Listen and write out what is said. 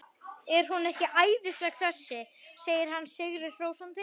Er hún ekki æðisleg þessi? segir hann sigri hrósandi.